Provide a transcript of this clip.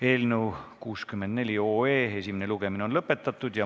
Eelnõu 64 esimene lugemine on lõpetatud.